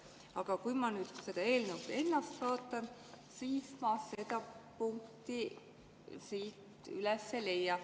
Aga kui ma nüüd seda eelnõu ennast vaatan, siis ma seda punkti siit üles ei leia.